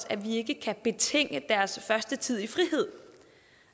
at vi ikke kan betinge deres første tid i frihed